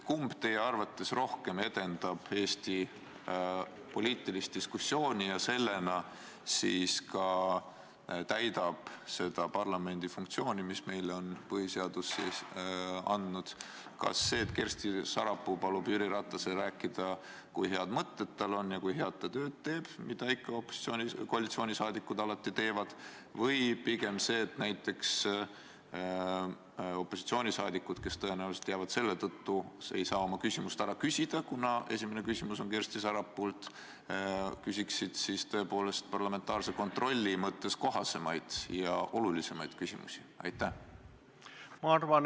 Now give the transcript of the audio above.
Kumb teie arvates rohkem edendab Eesti poliitilist diskussiooni ja täidab sellega seda parlamendi funktsiooni, mis põhiseadusega on meile antud: kas see, et Kersti Sarapuu palub Jüri Ratasel rääkida, kui head mõtted tal on ja kui head tööd ta teeb – nagu koalitsiooniliikmed ikka alati teevad –, või pigem see, et näiteks opositsiooniliikmed, kes tõenäoliselt ei saa seetõttu oma küsimust ära küsida, esitaksid parlamentaarse kontrolli mõttes kohasemaid ja olulisemaid küsimusi?